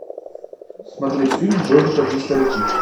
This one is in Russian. смотреть фильм в бой идут одни старики